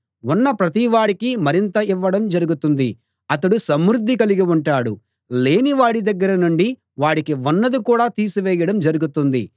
ఉన్న ప్రతివాడికీ మరింత ఇవ్వడం జరుగుతుంది అతడు సమృద్ధి కలిగి ఉంటాడు లేని వాడి దగ్గర నుండి వాడికి ఉన్నది కూడా తీసివేయడం జరుగుతుంది